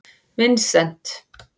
Vincent